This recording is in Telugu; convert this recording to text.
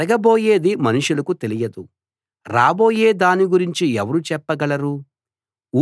జరగబోయేది మనుషులకి తెలియదు రాబోయే దాని గురించి ఎవరు చెప్పగలరు